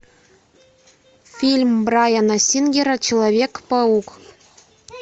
фильм брайана сингера человек паук